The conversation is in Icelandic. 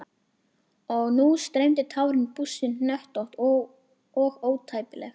Og nú streymdu tárin, bústin, hnöttótt og ótæpileg.